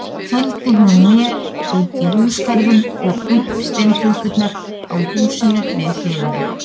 Fylgdi hún mér útí húsagarðinn og upp steintröppurnar á húsinu við hliðina.